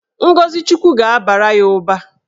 Ngọzi Chukwu ga-abara ya ụba.